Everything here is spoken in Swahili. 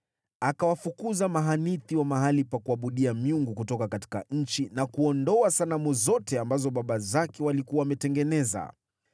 Akawafukuza mahanithi wa mahali pa kuabudia miungu kutoka nchi na kuondoa sanamu zote ambazo baba zake walikuwa wametengeneza.